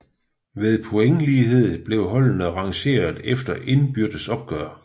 Ved pointlighed blev holdene rangeret efter indbyrdes opgør